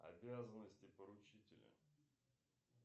обязанности поручителя